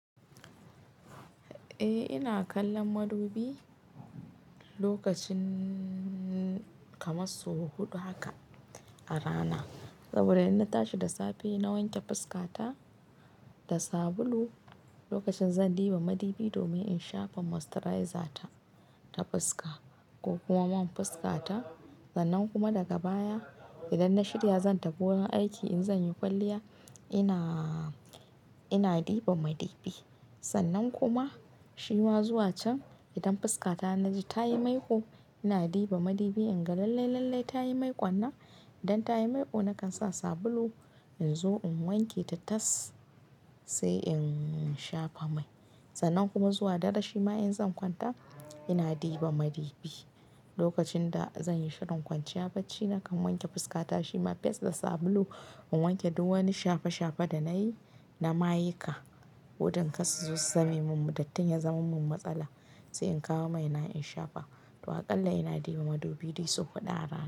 Eh ina kallon madubi lokacin kamar sau huɗu haka a rana. Saboda in na tashi da safe na wanke fuskata da sabulu, lokacin zan ɗuba madubi domin in shafa moisturizer ta, ta fuska ko kuma man fuskata. Sannan kuma daga baya idan na shirya zan tafi wurin aiki in zan yi kwalliya ina, ina ɗuba madubi. Sannan kuma shima zuwa can idan fuska ta na ji tayi maiko ina ɗuba madubi inga lallai lallai tayi maikon nan. Idan tayi maiko nakan sa sabulu in zo in wanke ta tas sai in shafa mai. Sannan kuma zuwa dare shima in zan kwanta ina ɗuba madubi. Lokacin da zan yi shirin kwanciya bacci nakan wanke fuskata shima fes da sabulu in wanke duk wani shafe shafe da na yi, na maiuka. Wudun kar su so su same mun dattin ya zama mun matsala sai in kawo mai na in shafa. Toh aƙalla ina ɗuba madubi dai sau huɗu a rana.